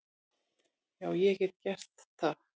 Já, ég get gert það.